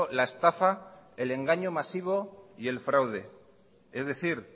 la estafa el engaño masivo y el fraude es decir